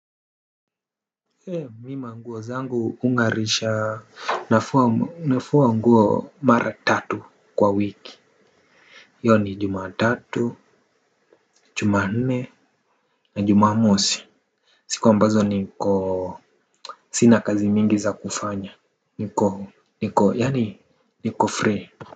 Mimi manguo zangu hungarisha nafua nguo mara tatu kwa wiki hiyo ni jumatatu, jumanne na jumamosi. Siku ambazo niko sina kazi mingi za kufanya. Niko niko yaani niko free.